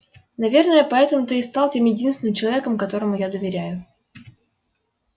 наверное поэтому ты и стал тем единственным человеком которому я доверяю